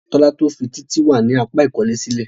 Tola to fí Títí wá ní apá ikole sílè.